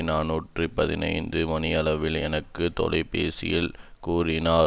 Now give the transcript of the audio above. நாநூற்று பதினைந்து மணியளவில் எனக்கு தொலை பேசியில் கூறினார்